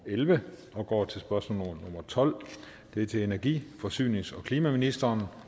elleve og går til spørgsmål nummer tolvte det er til energi forsynings og klimaministeren